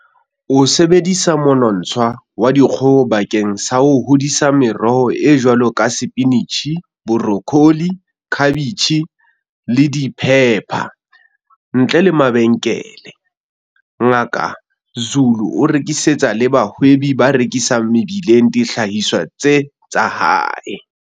O sebedisa monontsha wa dikgoho bakeng sa ho hodisa meroho e jwalo ka sepinitjhi, borokholi, khabetjhe, le diphepha. Ntle le mabenkele, Ngaka Zulu o rekisetsa le bahwebi ba rekisang mebileng dihlahiswa tsa hae.